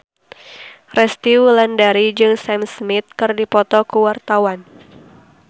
Resty Wulandari jeung Sam Smith keur dipoto ku wartawan